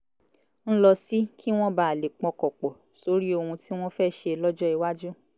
ń lọ sí kí wọ́n bàa lè pọkàn pọ̀ sórí ohun tí wọ́n fẹ́ ṣe lọ́jọ́ iwájú